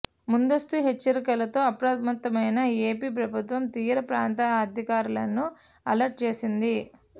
ముందస్తు హెచ్చరికలతో అప్రమత్తమైన ఏపీ ప్రభుత్వం తీర పాంత్ర అధికారులను అలర్ట్ చేసింది